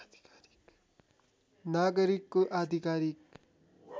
नागरिकको आधिकारिक